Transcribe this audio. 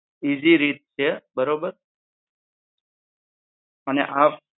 Easy રીત છે બરોબર. અને આ